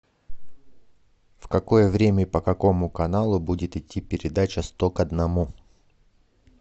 в какое время и по какому каналу будет идти передача сто к одному